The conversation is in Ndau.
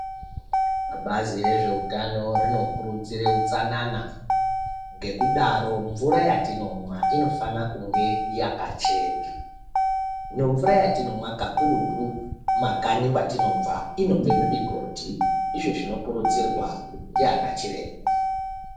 Bazi rezveutano rinokurudzira utsanana ngekudaro mvura yatinomwa inofana kunge yakachena. Hino mvura yatinomwa kakurutu muma kanyi kwatinobva mumugodhi izvo zvinokurudzirwa ndiana chiremba.